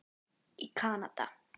í Kanada.